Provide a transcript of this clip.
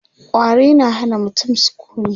ƙwari na Hana mutum sukuni